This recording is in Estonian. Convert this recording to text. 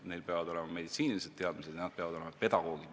Neil peavad olema meditsiiniteadmised ja nad peavad olema pedagoogid.